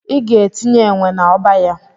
Ị ga-etinye enwe na-ọba ya.